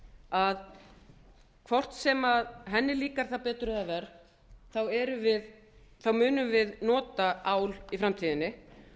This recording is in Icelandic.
að hvort sem henni líkar það getur eða verr þá munum við nota ál í framtíðinni